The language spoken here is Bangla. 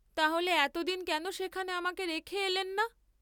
তাহলে এতদিন কেন সেখানে আমাকে রেখে এলেন না?